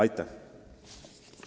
Aitäh!